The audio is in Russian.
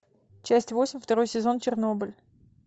часть восемь второй сезон чернобыль